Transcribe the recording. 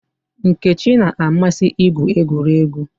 Nkechi na-amasị igwu egwuregwu.